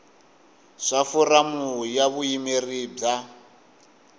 swa foramu ya vuyimeri bya